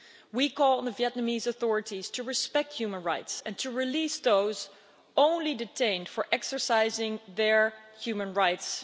We call on the Vietnamese authorities to respect human rights and to release those only detained for exercising their human rights.